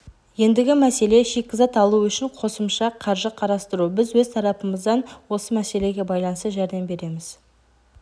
ендігі мәселе шикізат алу үшін қосымша қаржы қарастыру біз өз тарапымыздан осы мәселеге байланысты жәрдем береміз